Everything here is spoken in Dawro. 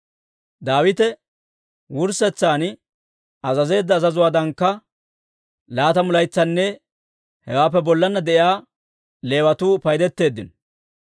Daawite wurssetsan azazeedda azazuwaadankka laatamu laytsanne hewaappe bollanna de'iyaa Leewatuu paydetteeddino.